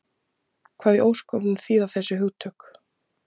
Hvað í ósköpunum þýða þessi hugtök?